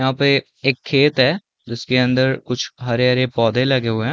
यहाँ पे एक खेत हैं जिसके अंदर कुछ हरे - हरे पौधे लगे हुए हैं।